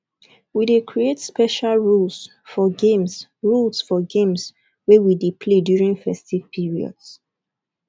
we dey create special rules for games rules for games wey we dey play during festive periods